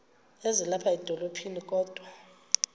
ezilapha edolophini kodwa